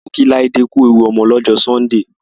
A lọ kí Láídé ku ewu ọmọ lọ́jọ́ Sọ́ńdè.